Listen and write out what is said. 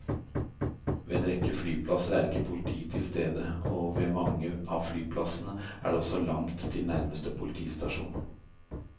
Ved en rekke flyplasser er ikke politiet til stede, og ved mange av flyplassene er det også langt til nærmeste politistasjon.